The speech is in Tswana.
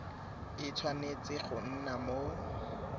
e tshwanetse go nna mo